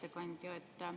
Hea ettekandja!